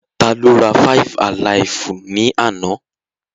Tá ló rá five-alaifu ni àna?